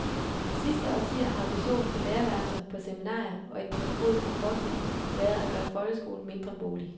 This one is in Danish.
De sidste årtier har ambitionen på lærerværelser, på seminarier og i den pædagogiske forskning været at gøre folkeskolen mindre boglig.